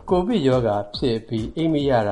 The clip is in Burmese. ကိုဗစ်-19 ရောဂါဖြစ်အပြီး၊ အိပ်မရတ